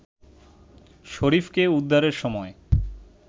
শরীফকে উদ্ধারের সময়